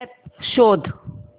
app शोध